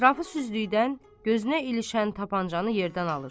Ətrafı süzdükdən gözünə ilişən tapançanı yerdən alır.